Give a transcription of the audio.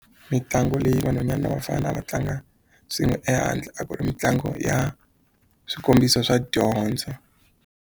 Mitlangu leyi vanhwanyana ni vafana va tlanga swin'we ehandle a ku ri mitlangu ya swikombiso swa dyondzo.